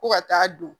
Ko ka taa don